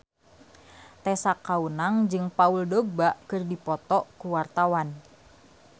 Tessa Kaunang jeung Paul Dogba keur dipoto ku wartawan